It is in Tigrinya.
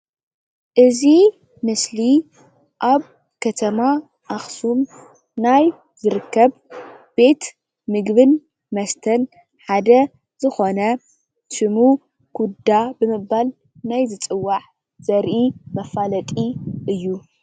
እዚ ምስሊ ኣብ ከተማ ኣክሱም ናይ ዝርከብ ቤት ምግብን መስተን ሓደ ዝኾነ ሽሙ ኩዳ ብምባል ዝፅዋዕ ዘርኢ መፋለጢ እዩ፡፡